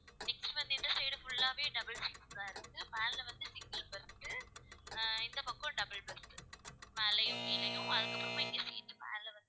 next வந்து இந்த side full லாவே double seats தான் இருக்கு மேல வந்து single berth ஆ இந்தப் பக்கம் double berth மேலையும் கீழயும் அதுக்கப்புறமா இங்க seat மேல வந்து